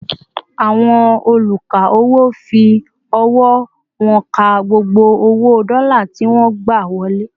Àwọn oluka-owo fi ọwọ wón ká gbogbo owo dola tí wọn gba wọlé